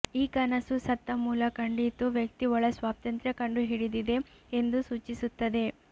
ಈ ಕನಸು ಸತ್ತ ಮೂಲ ಕಂಡಿತು ವ್ಯಕ್ತಿ ಒಳ ಸ್ವಾತಂತ್ರ್ಯ ಕಂಡುಹಿಡಿದಿದೆ ಎಂದು ಸೂಚಿಸುತ್ತದೆ